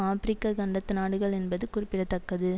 ஆபிரிக்க கண்டத்து நாடுகள் என்பது குறிப்பிட தக்கது